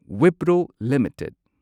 Wipro limited